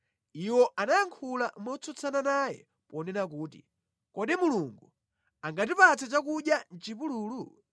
Iwo anayankhula motsutsana naye ponena kuti, “Kodi Mulungu angatipatse chakudya mʼchipululu?